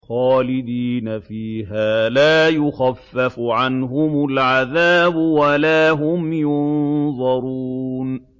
خَالِدِينَ فِيهَا ۖ لَا يُخَفَّفُ عَنْهُمُ الْعَذَابُ وَلَا هُمْ يُنظَرُونَ